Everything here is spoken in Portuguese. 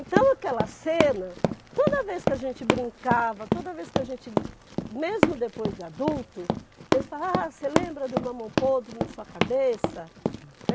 Então aquela cena, toda vez que a gente brincava, toda vez que a gente, mesmo depois de adulto, eles falavam, ah, você lembra do mamão podre na sua cabeça?